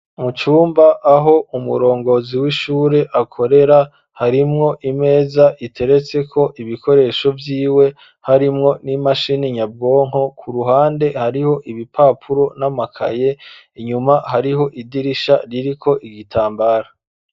Mu cumba, aho umurongozi w'ishure, akorera; harimwo imeza, iteretseko ibikoresho vyiwe, harimwo n'imashini nyabwonko; ku ruhande, hariho ibipapuro n'amakaye; inyuma, hariho idirisha, ririko igitambara.